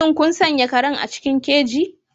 Shin kun sanya karen a cikin keji?